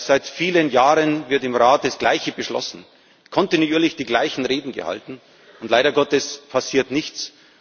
Seit vielen Jahren wird im Rat das Gleiche beschlossen, werden kontinuierlich die gleichen Reden gehalten, und leider Gottes passiert nichts.